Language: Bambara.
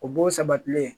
O b'o sabatilen